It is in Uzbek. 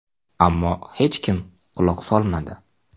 Ammo hech kim quloq solmadi.